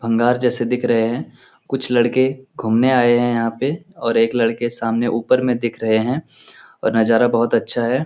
अंगार जिसे दिख रहे हैं कुछ लड़कों घूमने आये हैं यहाँ पे और एक लड़के सामने ऊपर में दिख रहे हैं नज़ारा बहुत अच्छा है।